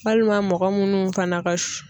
Walima mɔgɔ munnu fana ka